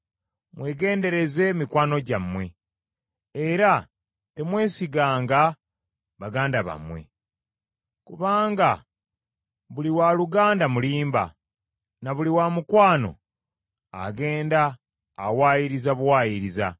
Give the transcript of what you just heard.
“Mwegendereze mikwano gyammwe era temwesiganga baganda bammwe: kubanga buli wa luganda mulimba na buli wamukwano agenda awaayiriza buwaayiriza.